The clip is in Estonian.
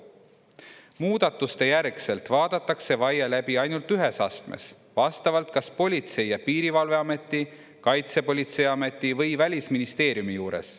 Muudatuste järgselt vaadatakse vaie läbi ainult ühes astmes vastavalt kas Politsei‑ ja Piirivalveameti, Kaitsepolitseiameti või Välisministeeriumi juures.